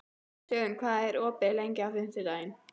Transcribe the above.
Dögun, hvað er opið lengi á fimmtudaginn?